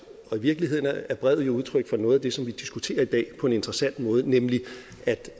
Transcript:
virkeligheden er er brevet jo udtryk for noget af det som vi diskuterer i dag på en interessant måde nemlig